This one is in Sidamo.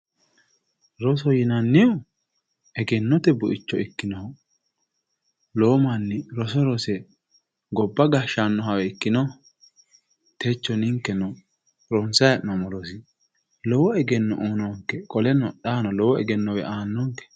roso yinannihu egennote buicho ikkinoho lowo manni roso rose gobba gashaahawe ikkino techo ninkeno ronsayi heenoomo rosi lowo egeenno uuyiinonke qoleno xaano lowo egennowe aanonke.